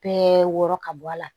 Bɛɛ wɔrɔ ka bɔ a la